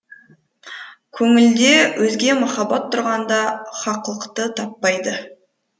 көңілде өзге махаббат тұрғанда хақлықты таппайды